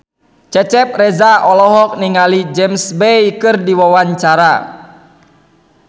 Cecep Reza olohok ningali James Bay keur diwawancara